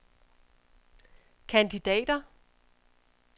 kandidater